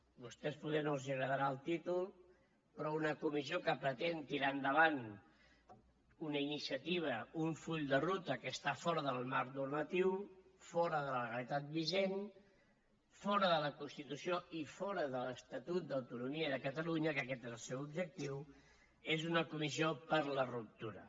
a vostès poder no els agradarà el títol però una comissió que pretén tirar endavant una iniciativa un full de ruta que està fora del marc normatiu fora de la legalitat vigent fora de la constitució i fora de l’estatut d’autonomia de catalunya que aquest és el seu objectiu és una comissió per a la ruptura